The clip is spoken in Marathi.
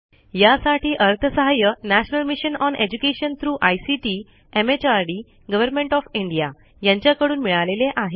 यासाठी अर्थसहाय्य national mission on education through ICT MHRD government O F India यांच्याकडून मिळालेले आहे